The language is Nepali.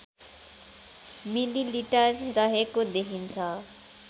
मिलिलिटर रहेको देखिन्छ